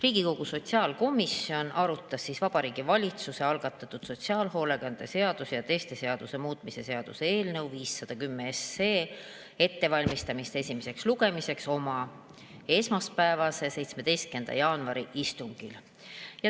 Riigikogu sotsiaalkomisjon arutas Vabariigi Valitsuse algatatud sotsiaalhoolekande seaduse ja teiste seaduste muutmise seaduse eelnõu 510 ettevalmistamist esimeseks lugemiseks oma esmaspäevasel, 17. jaanuari istungil.